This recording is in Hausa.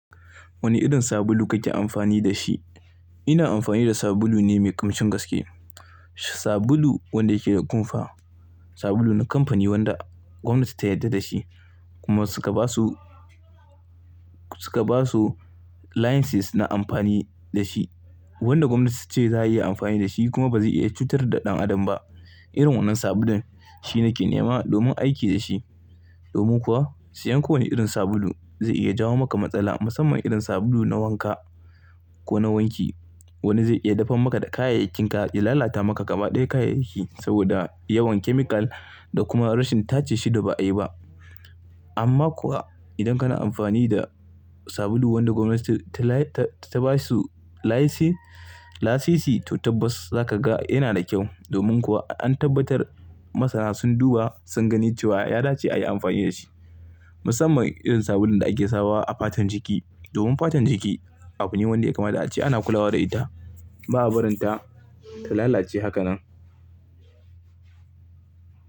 Wane irin sabulu kake amfani da shi? Ina amfani da sabulu ne mai ƙimcin gaske, sabulu wanda yake da kumfa, sabulu na kamfani wanda gwamnati ta yarda da shi kuma suka ba su, suka ba su licenses na amfani da shi. Wanda gwamnati ce za a iya amfani da shi kuma ba zai iya cutar da ɗan adam ba. Irin wannan sabulun shi nake nema domin aiki da shi. Domin kuwa siyan kowane irin sabulu zai iya jawo maka matsala, musamman irin sabulu na wanka ko na wanki. Wani zai iya dafan maka da kayayyakinka, ya lalata maka ƙama ɗaya kayayyaki saboda yawan chemical da kuma rashin tace shi da ba'a yi ba. Amma kuwa idan kana amfani da sabulu wanda gwamnati ta basu license, to tabbas za ka ga yana da kyau. Domin kuwa an tabbatar masana sun duba sun gani cewa ya dace a yi amfani da shi. Musamman irin sabulun da ake sawa a fatan jiki. Domin fatan jiki, abu ne wanda ya kama da ace ana kulawa da ita, ba a barin ta ta lalace hakanan.